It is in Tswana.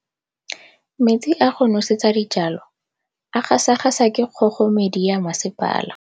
Metsi a go nosetsa dijalo a gasa gasa ke kgogomedi ya masepala.